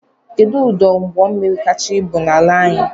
Kedụ ọdụ ụgbọmmiri kacha ibu n'ala anyị?